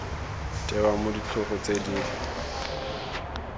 tewa mo ditlhogo tse di